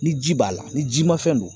Ni ji b'a la ni jimafɛn don